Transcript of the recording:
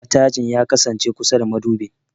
Matajin ya kasance kusa da madubin.